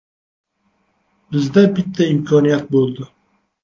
Bizda bitta imkoniyat bo‘ldi.